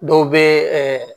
Dɔw bɛ ɛ